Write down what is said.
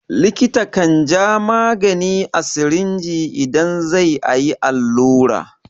Likita kan ja magani a sirinji idan zai a yi allura.